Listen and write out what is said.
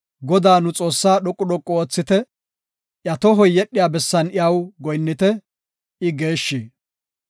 Godaa, nu Xoossaa dhoqu dhoqu oothite; iya tohoy yedhiya bessan iya goyinnite; I geeshshi.